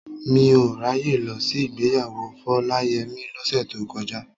Mi ò ráyè lọ sí ìgbéyàwó Fọláyẹmí lọ́sẹ̀ tó kọjá.